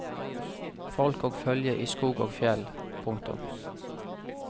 Folk og følgje i skog ogfjell. punktum